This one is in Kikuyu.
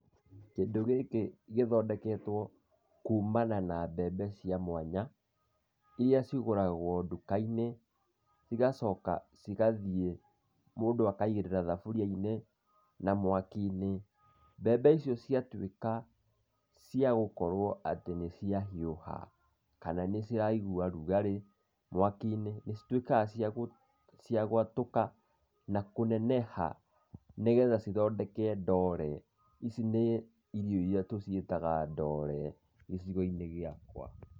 Kĩndũ gĩkĩ gĩthondeketwo kuumana na mbembe cia mwanya, iria cigũragwo nduka-inĩ, cigacoka cigathiĩ mũndũ akaigĩrĩra thaburia-inĩ, na mwaki-inĩ. Mbembe icio ciatuĩka cia gũkorwo atĩ nĩ cia hiũha kana nĩ ciraigua rugarĩ mwaki-inĩ, nĩ cituikaga cia gwatũka na kũneneha cigatuĩka cia gũthondeka ndore, ici nĩ irio iria tũciĩtaga ndore gĩcigo-inĩ gĩakwa.